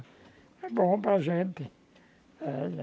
É bom para gente. É